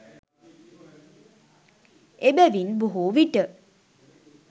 එබැවින් බොහෝවිට